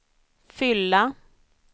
fylla